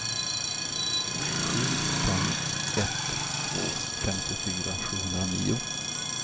sju fem ett två femtiofyra sjuhundranio